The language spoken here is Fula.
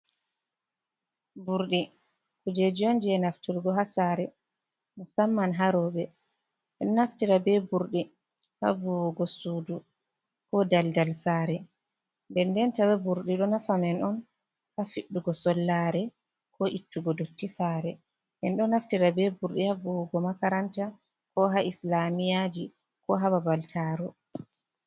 Burdi kujejionj nafturgo ha sare musamman harobe en naftira be burdi ha vuwugo sudu ko daldal sare, den denta be burdi do nafa men on ha fiddugo sollare ko ittugo dotti sare, en do naftira be burdi ha vuwugo makaranta ko ha islamiyaji ko hababal moftorde.